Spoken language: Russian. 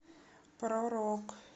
про рок